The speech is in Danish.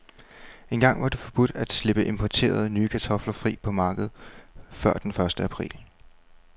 Engang var det forbudt at slippe importerede, nye kartofler fri på markedet før den første april.